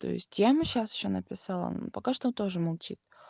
то есть я ему сейчас ещё написала но пока что он тоже молчит